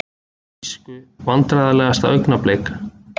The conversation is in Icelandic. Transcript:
Þýsku Vandræðalegasta augnablik?